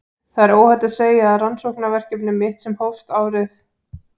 Það er óhætt að segja að rannsóknarverkefni mitt sem hófst árið